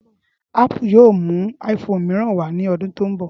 Ápù yóò mú iphone mìíràn wá ní ọdún tó ń bọ̀